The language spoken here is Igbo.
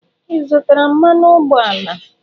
Ị zụtara mmanụ ụgbọala?.